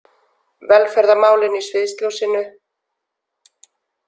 Velferðarmálin í sviðsljósinu